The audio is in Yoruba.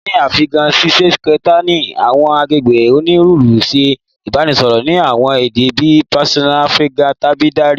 Ni Afiganisitani, awọn agbegbe oniruuru ṣe ibasọrọ ni awọn ede bii Persian Afgan tabi Dari